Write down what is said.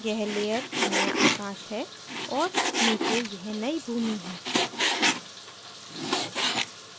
यह layer नया आकाश है और नीचे यह नयी भूमि है